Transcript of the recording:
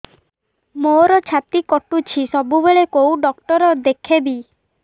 ମୋର ଛାତି କଟୁଛି ସବୁବେଳେ କୋଉ ଡକ୍ଟର ଦେଖେବି